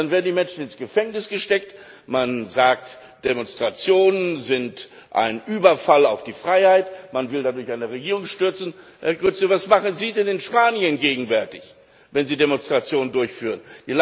Und dann werden die Menschen ins Gefängnis gesteckt, man sagt, Demonstrationen sind ein Überfall auf die Freiheit, man will dadurch eine Regierung stürzen! Herr Couso, was machen Sie denn in Spanien gegenwärtig, wenn Sie Demonstrationen durchführen?